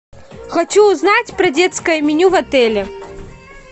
хочу узнать про детское меню в отеле